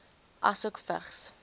asook vigs